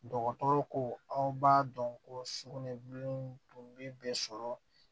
Dɔgɔtɔrɔ ko aw b'a dɔn ko sukunɛbilennin tun bɛ bɛɛ sɔrɔ